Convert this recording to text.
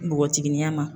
Npogotigininya ma